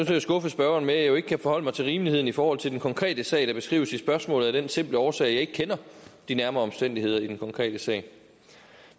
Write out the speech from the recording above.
til at skuffe spørgeren med at jeg jo ikke kan forholde mig til rimeligheden i forhold til den konkrete sag der beskrives i spørgsmålet af den simple årsag at jeg ikke kender de nærmere omstændigheder i den konkrete sag